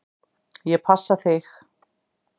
Ég passa þig.